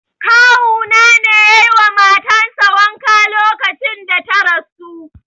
Kawu na ne yayi wa matan sa wanka lokacin da ta rasu.